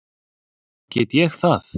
Get ég það?